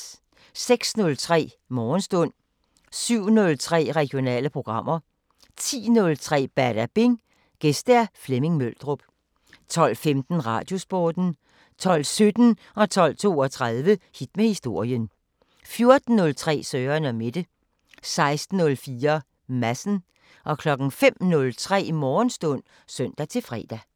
06:03: Morgenstund 07:03: Regionale programmer 10:03: Badabing: Gæst Flemming Møldrup 12:15: Radiosporten 12:17: Hit med historien 12:32: Hit med historien 14:03: Søren & Mette 16:04: Madsen 05:03: Morgenstund (søn-fre)